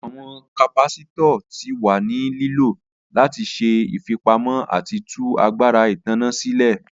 Awọn capacitors ti wa ni lilo lati ṣe ifipamọ ati tu agbara itanna silẹ.